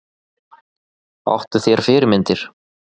Áttu þér fyrirmyndir?